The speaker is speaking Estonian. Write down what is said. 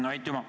Aitüma!